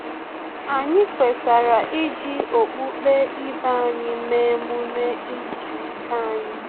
Anyị kwetara iji okpukpe ibe anyị mee emume izu ike anyi